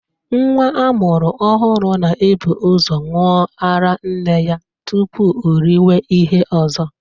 Nwa a mụrụ ọhụrụ na-ebu ụzọ ṅụwa ara nne ya tupu o riwe ihe ọzọ